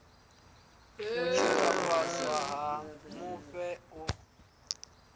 u tshikafhadzwa ha mufhe u